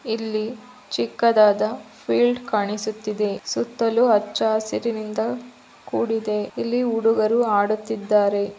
ಇಲ್ಲಿ ಚಿಕ್ಕದಾದ ಫೇಯ್ಲ್ಡ್ ಕಾಣಿಸುತ್ತಿದೆ ಸುತ್ತಲೂ ಹಚ್ಚ ಹಸಿರಿನಿಂದ ಕೂಡಿದೆ ಇಲ್ಲಿ ಹುಡುಗರು ಆಡುತಿದ್ದಾರೆ.